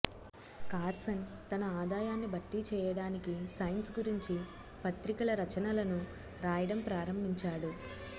Carson తన ఆదాయాన్ని భర్తీ చేయడానికి సైన్స్ గురించి పత్రికల రచనలను రాయడం ప్రారంభించాడు